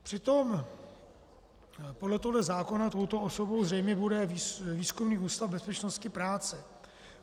Přitom podle tohoto zákona touto osobou zřejmě bude Výzkumný ústav bezpečnosti práce.